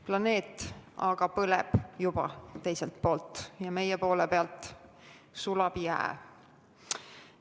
Planeet aga teisel poolel juba põleb ja meie poole peal sulab jää.